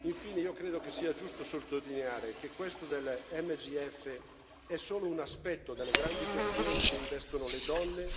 Infine, io credo che sia giusto sottolineare che questo delle MGF è solo un aspetto delle grandi questioni che investono le donne